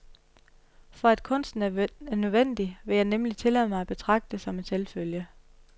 For at kunsten er nødvendig, vil jeg nemlig tillade mig at betragte som en selvfølge.